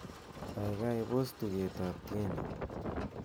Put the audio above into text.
gaigai pos tuget ab tieni